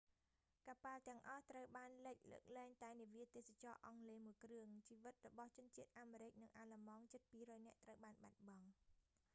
កប៉ាល់ទាំងអស់ត្រូវបានលិច លើកលែងតែនាវាទេសចរណ៍អង់គ្លេសមួយគ្រឿង ជីវិតរបស់ជនជាតិអាមេរិកនិងអាល្លឺម៉ង់ជិត 200 នាក់ត្រូវបានបាត់បង់